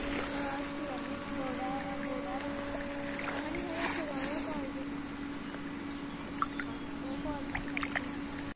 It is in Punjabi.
ਮੈਂ ਤਾਂ ਇਥੇ ਹੀ ਜਾਣੀ ਹੁੰਨੀ ਆ ਬੋੜਾ ਬੋੜਾ ਆਲਾ, ਆਹ ਨੀ ਹੈਗਾ ਇਥੇ ਰਾਇਲ ਕਾਲਜ ਹਾਂ ਹਾਂ, ਉਹ ਕਾਲਜ ਚ ਪੜ੍ਹਦੀ ਆ।